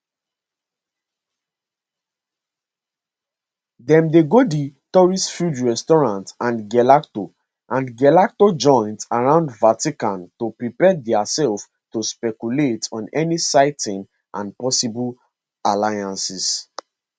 dem dey go di touristfilled restaurants and gelato and gelato joints around vatican to prepare diaself to speculate on any sightings and possible alliances